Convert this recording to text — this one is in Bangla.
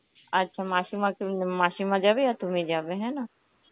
আচ্ছা মাসীমা মাসিমা যাবে আর তুমি যাবে হ্যাঁ না?